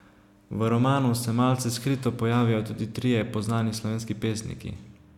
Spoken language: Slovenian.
V romanu se malce skrito pojavijo tudi trije poznani slovenski pesniki.